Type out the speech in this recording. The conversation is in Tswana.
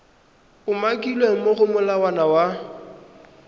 umakilweng mo go molawana wa